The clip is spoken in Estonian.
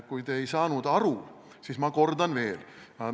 Kui te ei saanud aru, siis ma kordan veel.